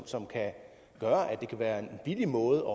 som kan være en billig måde